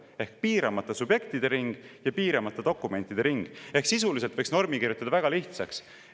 Ehk siis piiramata subjektide ring ja piiramata dokumentide ring ehk sisuliselt võiks normi kirjutada väga lihtsaks.